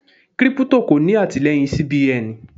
Kírípútò kò ní àtìleyìn CBN.